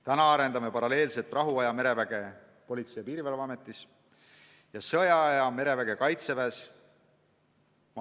Praegu me arendame paralleelselt rahuaja mereväge Politsei- ja Piirivalveametis ja sõjaaja mereväge Kaitseväes.